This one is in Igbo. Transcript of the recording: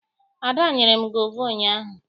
Ada nyere m gova ụnyaahụ.